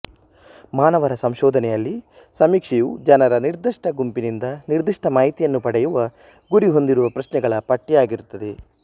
ಮಾನವರ ಸಂಶೋಧನೆಯಲ್ಲಿ ಸಮೀಕ್ಷೆಯು ಜನರ ನಿರ್ದಿಷ್ಟ ಗುಂಪಿನಿಂದ ನಿರ್ದಿಷ್ಟ ಮಾಹಿತಿಯನ್ನು ಪಡೆಯುವ ಗುರಿಹೊಂದಿರುವ ಪ್ರಶ್ನೆಗಳ ಪಟ್ಟಿಯಾಗಿರುತ್ತದೆ